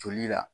Joli la